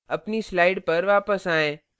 अपनी slide पर वापस आएँ